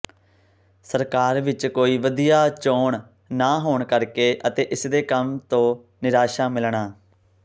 ਸਰਕਾਰ ਵਿੱਚ ਕੋਈ ਵਧੀਆ ਚੋਣ ਨਾ ਹੋਣ ਕਰਕੇ ਅਤੇ ਇਸਦੇ ਕੰਮ ਤੋਂ ਨਿਰਾਸ਼ਾ ਮਿਲਣਾ